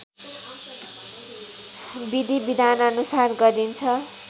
विधि विधानअनुसार गरिन्छ